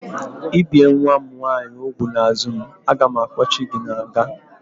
I bie nwa m nwaanyị úgwù n'azụ m, a ga m akpochi gị n'nga!